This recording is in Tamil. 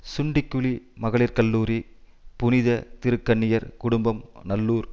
சுண்டிக்குளி மகளிர் கல்லூரி புனித திருக்கன்னியர் குடும்பம் நல்லூர்